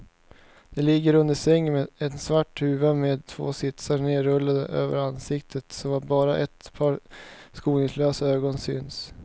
De ligger under sängen med en svart huva med två slitsar nerrullad över ansiktet så att bara ett par skoningslösa ögon syns.